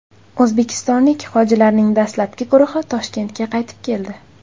O‘zbekistonlik hojilarning dastlabki guruhi Toshkentga qaytib keldi.